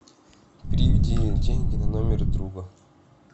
переведи деньги на номер друга